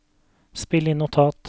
spill inn notat